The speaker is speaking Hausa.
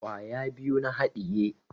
Kwaya biyu na haɗiye